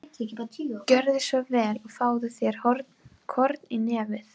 Gjörðu svo vel og fáðu þér korn í nefið.